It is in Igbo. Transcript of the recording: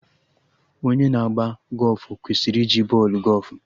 Onye na agba gọfụ kwesịrị iji bọọlụ gọfụ